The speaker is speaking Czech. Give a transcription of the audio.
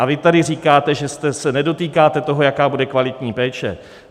A vy tady říkáte, že se nedotýkáte toho, jak bude kvalitní péče.